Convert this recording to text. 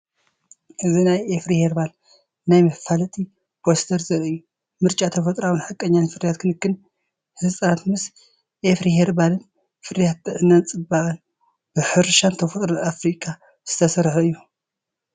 እዚ ናይ ኣፍሪ ሄርባል ናይ መፋለጢ ፖስተር ዘርኢ እዩ። ምርጫ ተፈጥሮኣውን ሓቀኛን ፍርያት ክንክን ህጻናት ምስ ኣፍሪ ሄርባል። ፍርያት ጥዕናን ጽባቐን፡ ብሕርሻን ተፈጥሮን ኣፍሪካ ዝተሰርሐ እዩ።